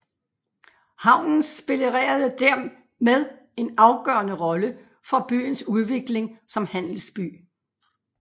Havnen spillerede dermed en afgørende rolle for byens udvikling som handelsby